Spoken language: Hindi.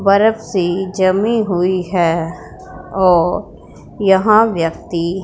बरफ से जमी हुई है और यहां व्यक्ति--